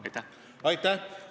Aitäh!